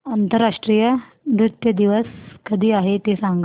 आंतरराष्ट्रीय नृत्य दिवस कधी आहे ते सांग